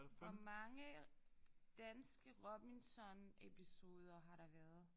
Hvor mange danske Robinson episoder har der været